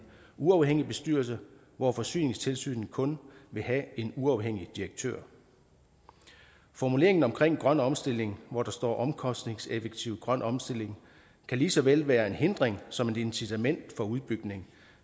uafhængig bestyrelse hvor forsyningstilsynet kun vil have en uafhængig direktør formuleringen omkring grøn omstilling hvor der står omkostningseffektiv grøn omstilling kan lige så vel være en hindring som et incitament for udbygning